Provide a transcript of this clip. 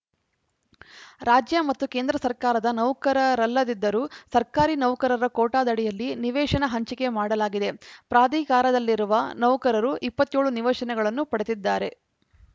ರಾಜ್ಯ ಮತ್ತು ಕೇಂದ್ರ ಸರ್ಕಾರದ ನೌಕರರಲ್ಲದಿದ್ದರೂ ಸರ್ಕಾರಿ ನೌಕರರ ಕೋಟಾದಡಿಯಲ್ಲಿ ನಿವೇಶನ ಹಂಚಿಕೆ ಮಾಡಲಾಗಿದೆ ಪ್ರಾಧಿಕಾರದಲ್ಲಿರುವ ನೌಕರರು ಇಪ್ಪತ್ತ್ ಏಳು ನಿವೇಶನಗಳನ್ನು ಪಡೆದಿದ್ದಾರೆ